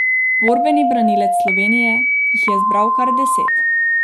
Borbeni branilec Slovenije jih je zbral kar deset.